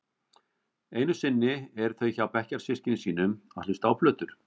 Einusinni eru þau hjá bekkjarsystkinum sínum að hlusta á plötur.